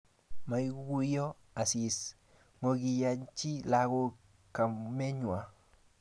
Maiguyo Asisi ngokiiyanchi lagok kamenywa